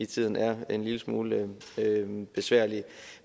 tiden er en lille smule besværlige